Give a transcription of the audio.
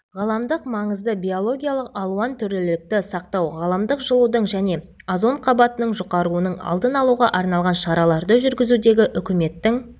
ғаламдық маңызды биологиялық алуан түрлілікті сақтау ғаламдық жылудың және озон қабатының жұқаруының алдын алуға арналған шараларды жүргізудегі үкіметтің